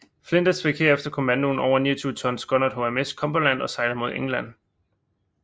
Flinders fik herefter komandoen over en 29 tons skonnert HMS Cumberland og sejlede mod England